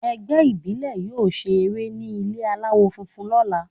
Ẹgbẹ́ ìbílè yóò ṣe eré ní ilé aláwọ̀ funfun lọ́la.